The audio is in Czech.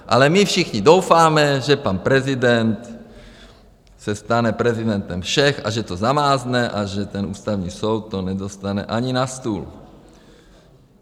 Ale my všichni doufáme, že pan prezident se stane prezidentem všech a že to zamázne a že ten Ústavní soud to nedostane ani na stůl.